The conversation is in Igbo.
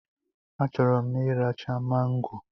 A chọrọ m iracha mango